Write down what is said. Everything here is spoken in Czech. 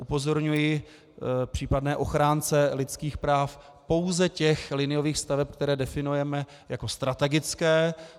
Upozorňuji případné ochránce lidských práv, pouze těch liniových staveb, které definujeme jako strategické.